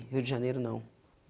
Rio de Janeiro, não.